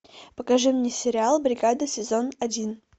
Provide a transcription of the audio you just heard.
покажи мне сериал бригада сезон один